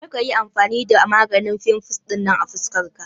Kar ka yi amfani da maganin fimfles ɗinan a fuskar ka.